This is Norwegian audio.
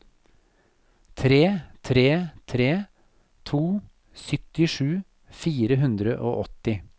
tre tre tre to syttisju fire hundre og åtti